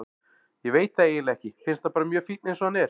Ég veit það eiginlega ekki, finnst hann bara mjög fínn eins og hann er.